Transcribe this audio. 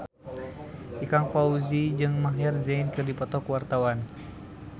Ikang Fawzi jeung Maher Zein keur dipoto ku wartawan